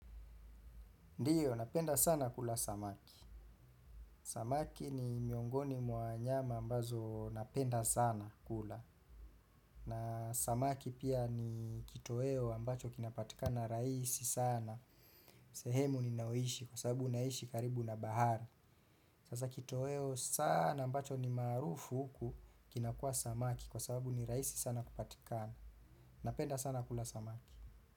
Ndiyo, napenda sana kula samaki. Samaki ni miongoni mwa wanyama ambazo napenda sana kula. Na samaki pia ni kitoeo ambacho kinapatika na rahisi sana. Sehemu ninayoishi kwa sababu naishi karibu na bahari. Sasa kitoeo sana ambacho ni maarufu huku kinakua samaki kwa sababu ni rahisi sana kupatikana. Napenda sana kula samaki.